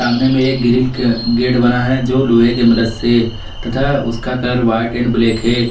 सामने में एक ग्रिल का गेट बना है जो लोहे के मदद से तथा उसका कलर व्हाइट एंड ब्लैक है।